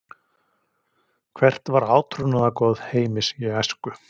Hvert var átrúnaðargoð Heimis í æsku?